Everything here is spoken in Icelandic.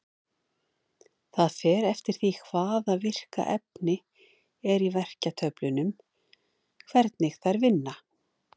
Það fer eftir því hvaða virka efni er í verkjatöflunum hvernig þær vinna.